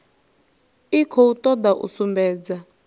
i khou toda u sumbedza